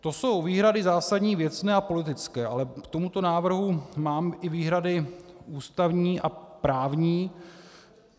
To jsou výhrady zásadní věcné a politické, ale k tomuto návrhu mám i výhrady ústavní a právní.